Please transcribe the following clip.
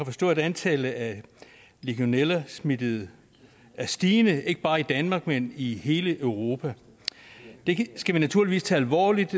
forstå at antallet af legionellasmittede er stigende ikke bare i danmark men i hele europa det skal vi naturligvis tage alvorligt